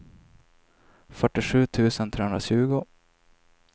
fyrtiosju tusen trehundratjugo